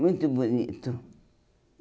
Muito bonito.